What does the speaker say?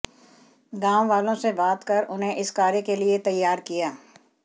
गाँव वालों से बात कर उन्हें इस कार्य के लिए तैयार किया